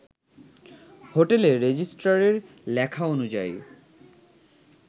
হোটেলে রেজিস্ট্রারে লেখা অনুযায়ী